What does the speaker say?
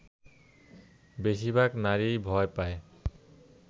বেশিরভাগ নারীই ভয় পায়